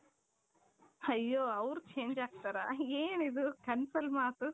ಅಯ್ಯೋ ಅವರು change ಆಗ್ತಾರ ಏನಿದು ಕನಸಲ್ಲಿ ಮಾತು.